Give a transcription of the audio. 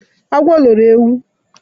Agwo loro ewu